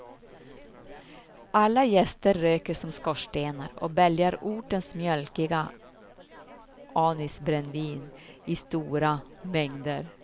Alla gäster röker som skorstenar och bälgar ortens mjölkiga anisbrännvin i stora mängder.